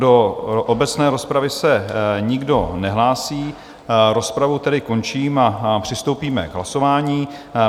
Do obecné rozpravy se nikdo nehlásí, rozpravu tedy končím a přistoupíme k hlasování.